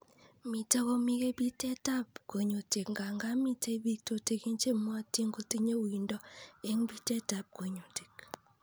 Mitei komike bitetab kunyutik nga nga mitei biik tutikin chemwootin kotinye uindo eng' bitetab kunyutik